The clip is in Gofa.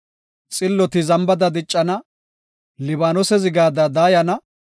Xilloti zambada diccana; Libaanose zigada daayana.